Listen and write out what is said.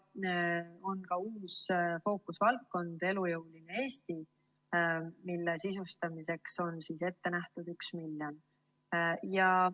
On ka uus fookusvaldkond – elujõuline Eesti, mille sisustamiseks on ette nähtud 1 miljon.